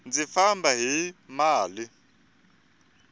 ndzi famba hi mali